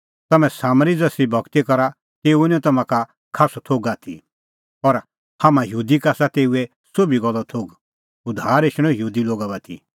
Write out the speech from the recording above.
तम्हैं सामरी ज़सरी भगती करा तेऊओ निं तम्हां का खास्सअ थोघ आथी और हाम्हां यहूदी का आसा तेऊए सोभी गल्लो थोघ उद्धार एछणअ यहूदी लोगा बाती